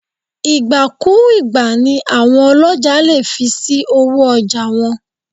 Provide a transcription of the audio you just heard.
Ìgbà-kú-ùgbà ni àwọn ọlọ́jà lè fi sí owó ọjà wọn.